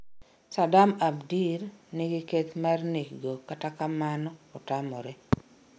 Sadam Abdir , nigi keth mar nek go, katakamano otamre